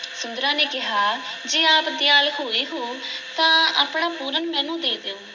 ਸੁੰਦਰਾਂ ਨੇ ਕਿਹਾ ਜੇ ਆਪ ਦਿਆਲ ਹੋਏ ਹੋ ਤਾਂ ਆਪਣਾ ਪੂਰਨ ਮੈਨੂੰ ਦੇ ਦਿਓ।